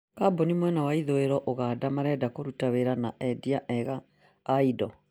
kambuni mwena wa ithũĩro Uganda marenda kũruta wĩra na endia eega aindo